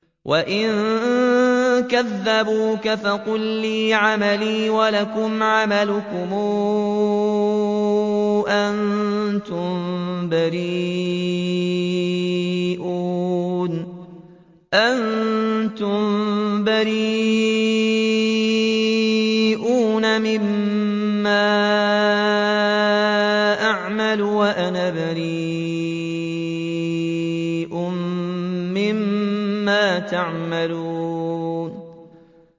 وَإِن كَذَّبُوكَ فَقُل لِّي عَمَلِي وَلَكُمْ عَمَلُكُمْ ۖ أَنتُم بَرِيئُونَ مِمَّا أَعْمَلُ وَأَنَا بَرِيءٌ مِّمَّا تَعْمَلُونَ